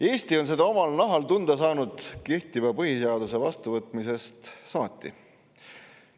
Eesti on seda omal nahal tunda saanud kehtiva põhiseaduse vastuvõtmisest saati.